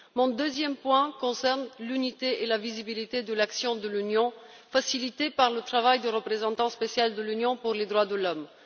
Mon deuxième point concerne l'unité et la visibilité de l'action de l'Union, facilitée par le travail du représentant spécial de l'Union pour les droits de l'homme.